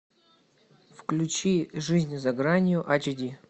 включи жизнь за гранью ач ди